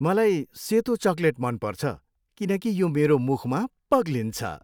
मलाई सेतो चकलेट मन पर्छ किनकि यो मेरो मुखमा पग्लिन्छ।